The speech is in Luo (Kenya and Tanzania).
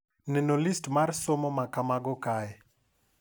Neno list mar somo ma kamago kae.